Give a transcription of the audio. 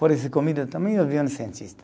Por essa comida também havia um cientista.